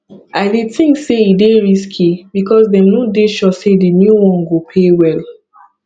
i dey think say e dey risky because dem no dey sure say di new one go pay well